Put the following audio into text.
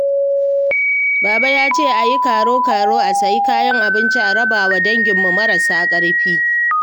Baba ya ce a yi karo-karo a sayi kayan abinci a raba wa danginmu marasa ƙarfi